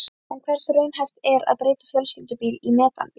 En hversu raunhæft er að breyta fjölskyldubíl í metanbíl?